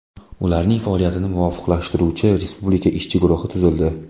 Ularning faoliyatini muvofiqlashtiruvchi Respublika ishchi guruhi tuzildi.